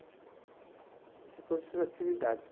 Então tem todas essas atividades